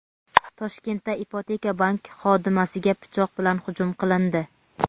Toshkentda "Ipoteka bank" xodimasiga pichoq bilan hujum qilindi.